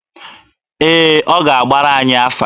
Ee, ọ ga-agbara anyị afa.